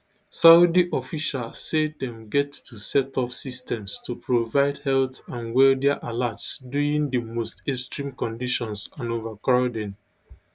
saudi officials say dem get to set up systems to provide health and weather alerts during di most extreme conditions and overcrowding